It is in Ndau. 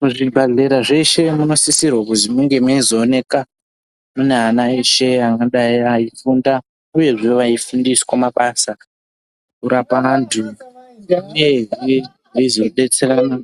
Muzvibhadhlera mweshe munosisirwa kuzi munge meizooneka mune ana eshe anodai eifunda uyezve veifundiswa mabasa kurapa vantu uyezve veizodetserana